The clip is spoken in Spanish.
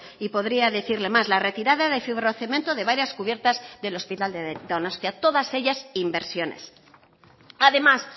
y podría decirle más la retirada de fibrocemento de varias cubiertas del hospital de donostia todas ellas inversiones además